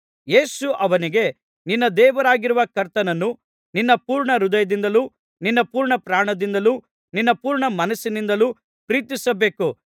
ಯೇಸು ಅವನಿಗೆ ನಿನ್ನ ದೇವರಾಗಿರುವ ಕರ್ತನನ್ನು ನಿನ್ನ ಪೂರ್ಣಹೃದಯದಿಂದಲೂ ನಿನ್ನ ಪೂರ್ಣಪ್ರಾಣದಿಂದಲೂ ನಿನ್ನ ಪೂರ್ಣಮನಸ್ಸಿನಿಂದಲೂ ಪ್ರೀತಿಸಬೇಕು